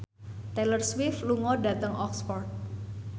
Taylor Swift lunga dhateng Oxford